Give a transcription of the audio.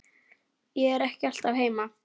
Ég er ekki alltaf heima.